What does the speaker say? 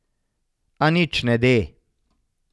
A nič ne de.